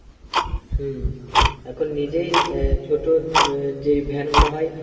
হুম এখন নিজেই আহ ছোটো যেই ভ্যান গুলো হয়